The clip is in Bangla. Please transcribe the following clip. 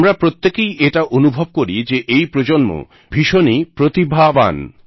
আমরা প্রত্যেকেই এটা অনুভব করি যে এই প্রজন্ম ভীষণই প্রতিভাবান